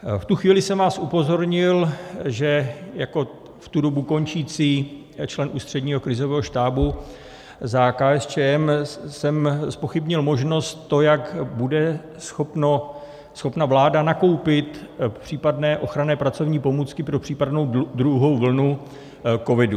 V tu chvíli jsem vás upozornil, že jako v tu dobu končící člen Ústředního krizového štábu za KSČM jsem zpochybnil možnost, to, jak bude schopna vláda nakoupit případné ochranné pracovní pomůcky pro případnou druhou vlnu covidu.